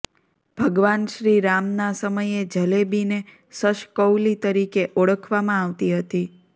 ભગવાન શ્રીરામના સમયે જલેબીને શશકૌલી તરીકે ઓળખવામાં આવતી હતી